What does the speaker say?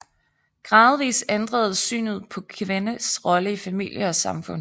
Gradvis ændredes synet på kvindens rolle i familie og samfund